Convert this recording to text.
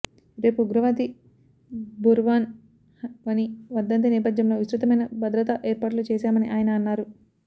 రేపు ఉగ్రవాది బుర్హన్ వనీ వర్ధంతి నేపథ్యంలో విస్తృతమైన భద్రతా ఏర్పాట్లు చేశామని ఆయన అన్నారు